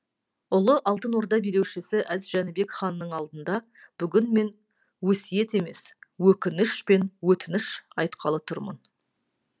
ұлы алтын орда билеушісі әз жәнібек ханның алдында бүгін мен өсиет емес өкініш пен өтініш айтқалы тұрмын